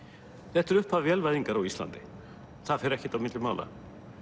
þetta er upphaf vélvæðingar á Íslandi það fer ekkert á milli mála